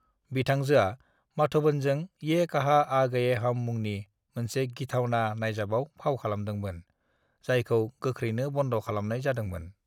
"बिथांजोआ माधवनजों ये कहां आ गए हम मुंनि मोनसे गिथावना नायजाबाव फाव खालामदोंमोन, जायखौ गोख्रैनो बन्द खालामनाय जादोंमोन।"